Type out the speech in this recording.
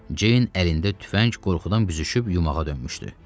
Ceyn əlində tüfəng qorxudan büzüşüb yumağa dönmüşdü.